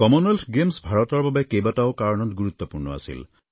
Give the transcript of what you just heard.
Commonwealth Games ভাৰতৰ বাবে কেইবাটাও কাৰণত গুৰুত্বপূৰ্ণ আছিল